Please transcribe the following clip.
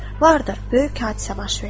Vardır, böyük hadisə baş verdi.